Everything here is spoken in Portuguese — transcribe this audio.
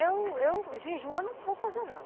Eu, eu, jejum, eu não vou fazer, não.